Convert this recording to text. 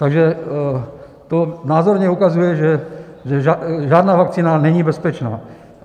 Takže to názorně ukazuje, že žádná vakcína není bezpečná.